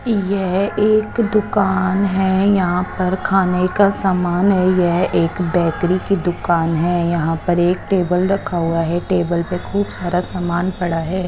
येह एक दूकान है यहा पर खाने का समान है यह एक बेकरी की दूकान है यहा पर एक टेबल रखा हुआ है टेबल पे खूब सारा समान पड़ा है।